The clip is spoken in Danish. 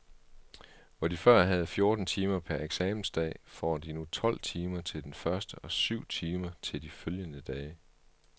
Hvor de før havde fjorten timer per eksamensdag, får de nu tolv timer til den første og syv timer til de følgende dage.